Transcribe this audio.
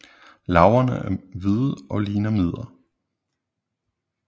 Larverne er hvide og ligner mider